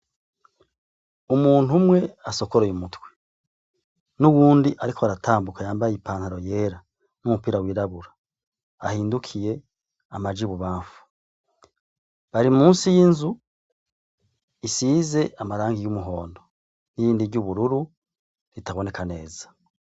Umuntu umwe asokoroye umutwe; n'uwundi ariko aratambuka yambaye ipantaro yera; n'umupira wirabura; ahindukiye amaja ibubamfu. Bari munsi y'inzu isize amarangi y'umuhondo; n'irindi ry'ubururu ritaboneka neza.